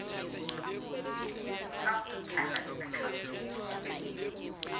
tswang ho chartered accountant se